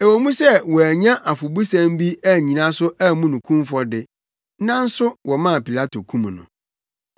Ɛwɔ mu sɛ wɔannya afɔbusɛm bi annyina so ammu no kumfɔ de, nanso wɔmaa Pilato kum no.